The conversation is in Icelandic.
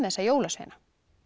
þessa jólasveina